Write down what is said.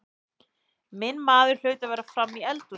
Minn maður hlaut að vera frammi í eldhúsi.